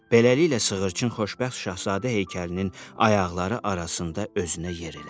Beləliklə sığırçın xoşbəxt şahzadə heykəlinin ayaqları arasında özünə yer elədi.